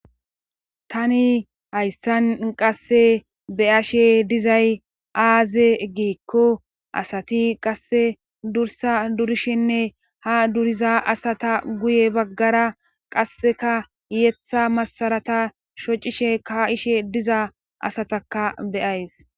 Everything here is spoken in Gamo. tani hayssan qasse beyashe dizay aaze giikko asati qasse dursa durishinne ha duriza asata guye baggara qasseka yeththa masarata shocishe ka7ishe diza asataka beyays